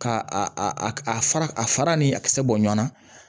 Ka a a a fara a fara ni a kisɛ bɔɲɔnna